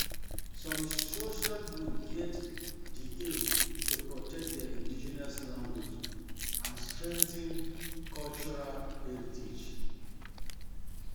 Some social group get di aim to protect their indigenous language and strengthen cultural strengthen cultural heritage